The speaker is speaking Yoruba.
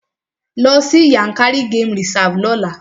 Lọ sí Yankari game reserve lọ́la!